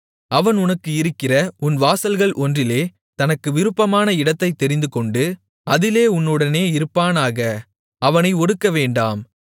அவன் உனக்கு இருக்கிற உன் வாசல்கள் ஒன்றிலே தனக்கு விருப்பமான இடத்தைத் தெரிந்துகொண்டு அதிலே உன்னுடனே இருப்பானாக அவனை ஒடுக்கவேண்டாம்